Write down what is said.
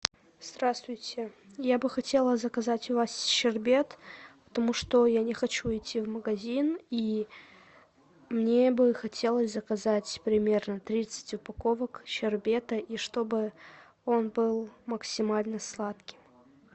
здравствуйте я бы хотела заказать у вас щербет потому что я не хочу идти в магазин и мне бы хотелось заказать примерно тридцать упаковок щербета и чтобы он был максимально сладким